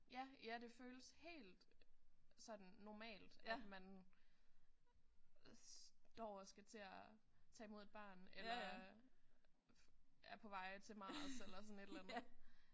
Ja ja det føles helt sådan normalt at man står og skal til at tage imod et barn eller er på vej til Mars eller sådan et eller andet